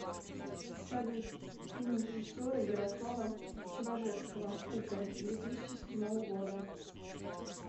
салют фильм режиссера ярослава чеважевского кука две тысячи седьмого года